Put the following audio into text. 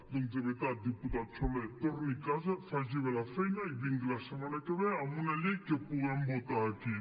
doncs de veritat diputat soler torni a casa faci bé la feina i vingui la setmana que ve amb una llei que puguem votar aquí